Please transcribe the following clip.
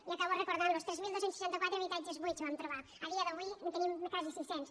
i acabo recordant los ho tres mil dos cents i seixanta quatre habitatges buits vam trobar a dia d’avui en tenim quasi sis cents